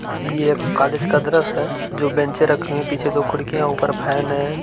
ये एक कालेज का द्रश है जो बेंचे रखी हुई हैं। पीछे दो खिड़कियाँ हैं। ऊपर फैन हैं।